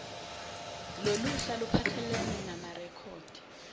loluhla luphathelene namarekhodi